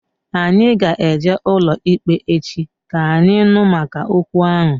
Anyị ga eje n'ụlọikpe echi, ka anyị nụ maka okwu ahụ